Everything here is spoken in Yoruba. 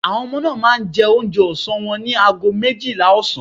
Àwọn ọmọ náà máa jẹ oúnjẹ ọsán wọn ní àgọ́ méjìlá ọ̀sán